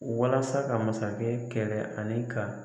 Walasa ka masakɛ kɛrɛ ani ka